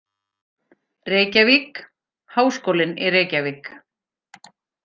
Reykjavík: Háskólinn í Reykjavík.